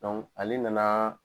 ale nana.